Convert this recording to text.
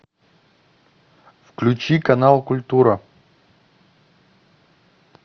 включи канал культура